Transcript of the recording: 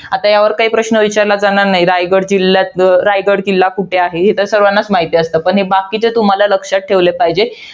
आता यावर की प्रश्न विचारला जाणार नाही. रायगड जिल्ह्यात, रायगड किल्ला कुठे आहे? हे तर सर्वांनाच माहित असतं. पण हे बाकीचे तुम्हाला लक्षात ठेवले पाहिजेत.